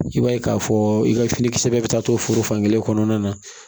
I b'a ye k'a fɔ i ka finikisɛ bɛɛ bɛ taa to foro fankelen kɔnɔna na